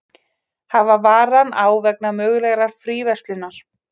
Hafa varann á vegna mögulegrar fríverslunar